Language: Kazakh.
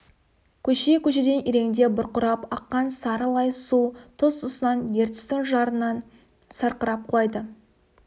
көше-көшеден иреңдеп бұрқырап аққан сары лай су тұс-тұсынан ертістің жарынан сарқырап құлайды